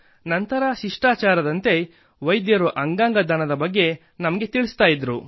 ನಂತರ ಶಿಷ್ಟಾಚಾರದಂತೆ ವೈದ್ಯರು ಅಂಗಾಂಗ ದಾನದ ಬಗ್ಗೆ ನಮಗೆ ತಿಳಿಸುತ್ತಿದ್ದರು